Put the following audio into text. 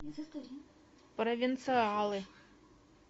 провинциалы